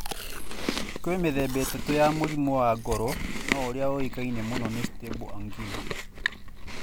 Kwĩ mĩthemba ĩtatũ ya mũrimũ wa ngoro no ũrĩa wũĩkaine mũno nĩ Stable angina.